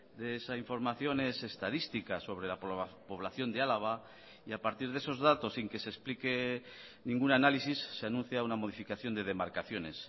de esa información es estadística sobre la población de álava y a partir de esos datos sin que se explique ningún análisis se anuncia una modificación de demarcaciones